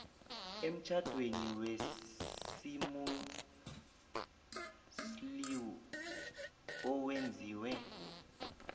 emtjhadweni wesimuslimu owenziwe